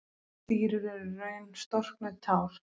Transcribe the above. Stírur eru í raun storknuð tár.